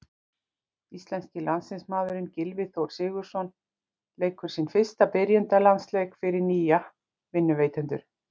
Íslenski landsliðsmaðurinn Gylfi Þór Sigurðsson leikur sinn fyrsta byrjunarliðsleik fyrir nýja vinnuveitendur.